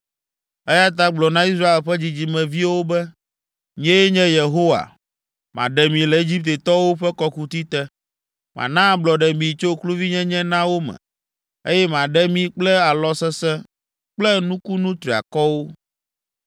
“Eya ta gblɔ na Israel ƒe dzidzimeviwo be, ‘Nyee nye Yehowa, maɖe mi le Egiptetɔwo ƒe kɔkuti te, mana ablɔɖe mi tso kluvinyenye na wo me, eye maɖe mi kple alɔ sesẽ kple nukunu triakɔwo.